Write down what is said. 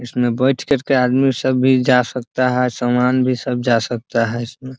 इसमें बैठ कर के आदमी सब भी जा सकता है सामान भी सब जा सकता है इसमें ।